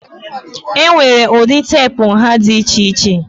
Enwere ụdị teepu nha dị iche iche.